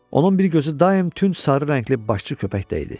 Onun bir gözü daim tünd sarı rəngli başçı köpəkdə idi.